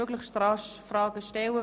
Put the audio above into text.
Somit ist dieses Vorgehen angenommen.